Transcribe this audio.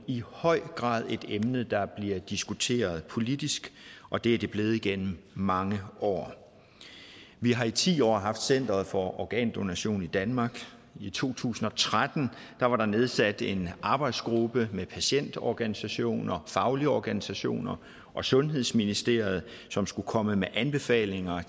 i høj grad et emne der bliver diskuteret politisk og det er det blevet gennem mange år vi har i ti år haft centeret for organdonation i danmark i to tusind og tretten var der nedsat en arbejdsgruppe med patientorganisationer faglige organisationer og sundhedsministeriet som skulle komme med anbefalinger